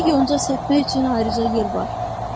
Orada yonca səpmək üçün ayrıca yer var.